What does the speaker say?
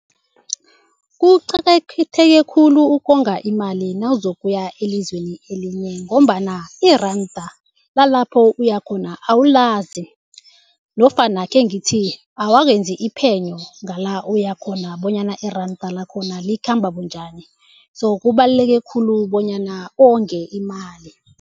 Kuqakatheke khulu ukonga imali nawuzokuya elizweni elinye ngombana iranda lalapho uyakhona awulazi nofana khengithi awakenzi iphenyo ngala uyakhona bonyana iranda lakhona likhamba bunjani so kubaluleke khulu bonyana onge imali.